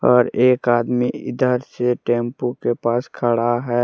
और एक आदमी इधर से टैंपू के पास खड़ा है।